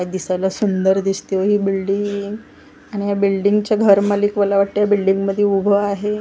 काय दिसायला सुंदर दिसते ओ हि बिल्डींग ह्या बिल्डींगचं घर मलिक मला वाटतंय बिल्डींगमध्ये उभं आहे ओ माय--